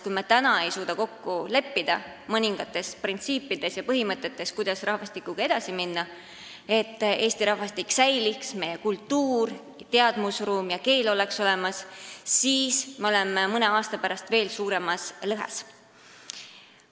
Kui me ei suuda praegu kokku leppida mõningates printsiipides, põhimõtetes, kuidas edasi minna, et Eesti rahvastik säiliks, meie kultuur, teadmusruum ja keel oleks ka edaspidi olemas, siis on meil mõne aasta pärast see lõhe veel suurem.